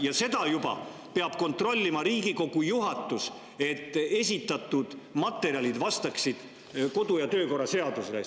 Ja seda juba peab kontrollima Riigikogu juhatus, et esitatud materjalid vastaksid kodu‑ ja töökorra seadusele.